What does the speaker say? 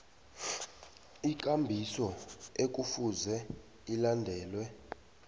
ikambiso ekufuze ilandelwe